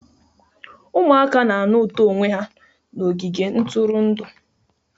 Ụmụaka na-anụ ụtọ onwe ha n'ogige ntụrụndụ